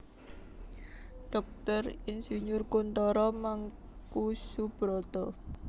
Dr Ir Kuntoro Mangkusubroto